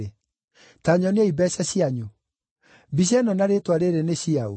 “Ta nyoniai mbeeca cianyu. Mbica ĩno na rĩĩtwa rĩĩrĩ nĩ cia ũ?”